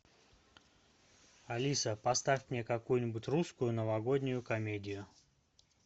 алиса поставь мне какую нибудь русскую новогоднюю комедию